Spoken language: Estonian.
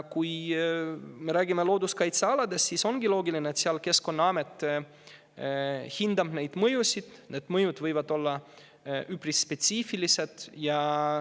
Kui me räägime looduskaitsealadest, siis ongi loogiline, et nende puhul Keskkonnaamet hindab mõjusid, mis võivad olla üpris spetsiifilised.